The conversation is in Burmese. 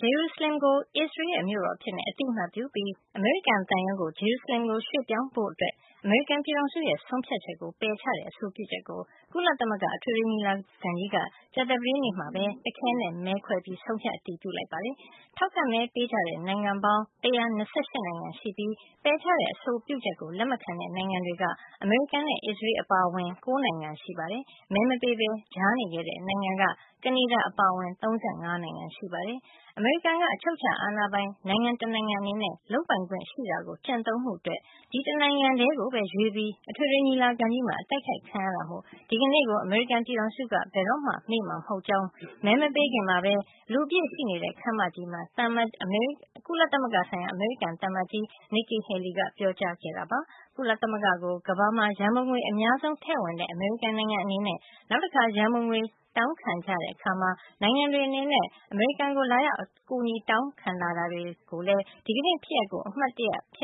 ဂျေရုဆလင်ကို အစ္စရေးရဲ့ မြို့တော်အဖြစ် အသိမှတ်ပြုပြီး အမေရိကန် သံရုံးကို ဂျေရုဆလင်ရွှေ့ပြောင်းဖို့ အမေရိကန်ပြည်ထောင်စုရဲ့ ဆုံးဖြတ်ချက်ကို ပယ်ချတဲ့ အဆိုပြုချက်ကို ကုလသမဂ္ဂ အထွေထွေညီလာခံကြီးက ကြာသပတေးနေ့က တခဲနက် မဲခွဲ ဆုံးဖြတ် အတည်ပြု လိုက်ပါတယ်။ ထောက်ခံမဲပေးကြတဲ့ နိုင်ငံပေါင်း ၁၂၈ နိုင်ငံရှိပြီး ပယ်ချတဲ့အဆိုပြုချက်ကို လက်မခံတဲ့ နိုင်ငံတွေက အမေရိကန်နဲ့ အစ္စရေး အပါအဝင် ၉ နိုင်ငံရှိပြီး မဲမပေးပဲ ကြားနေခဲ့ တဲ့နိုင်ငံက ကနေဒါ အပါအဝင် ၃၅ နိုင်ငံ ရှိပါတယ်။ အမေရိကန်က အချုပ်အခြာအာဏာပိုင် နိုင်ငံတနိုင်ငံ အနေနဲ့ လုပ်ပိုင်ခွင့်ရှိတာကို ကျင့်သုံးမှု အတွက် ဒီ်တနိုင်ငံထဲ ကိုပဲ ရွေးပြီး အထွေထွေ ညီလာခံကြီးမှာ အတိုက်ခိုက် ခံရတာမို့ ဒီနေ့ကို အမေရိကန် ပြည်ထောင်စုက ဘယ်တော့မှ မေ့မှာ မဟုတ်ကြောင်း မဲမပေးခင် မှာပဲ လူအပြည့်ရှိနေတဲ့ ခန်းမကြီးမှာ ကုလသမဂ္ဂဆိုင်ရာ အမေရိကန် သံအမတ်ကြီး Nikki Haley က ပြောကြားခဲ့ပါတယ်။ ကုလသမဂ္ဂကို ကမ္ဘာမှာ ရန်ပုံငွေ အများဆုံး ထည့်ဝင်တဲ့ အမေရိကန် နိုင်ငံအနေနဲ့ နောက်တခါ ရန်ပုံငွေတောင်းခံတဲ့ အခါနဲ့ နိုင်ငံတွေ အနေနဲ့ အမေရိကန်ကို လာရောက် အကူအညီ တောင်းခံလာရင်လည်း ဒီနေ့ ဖြစ်ရပ်ကို အမှတ်ရ